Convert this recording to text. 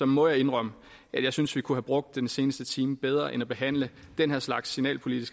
må jeg indrømme at jeg synes vi kunne have brugt den seneste time bedre end på at behandle den her slags signalpolitiske